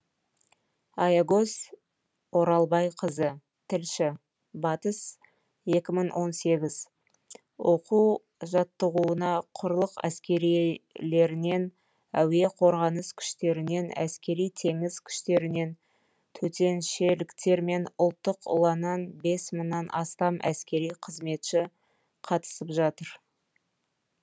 аягөз оралбайқызы тілші батыс екі мың он сегіз оқу жаттығуына құрлық әскерилерінен әуе қорғаныс күштерінен әскери теңіз күштерінен төтеншеліктер мен ұланнанбес мыңнан астам әскери қызметші қатысып жатыр